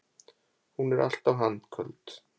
Hún er alltaf handköld.